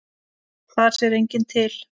Þar sér enginn til.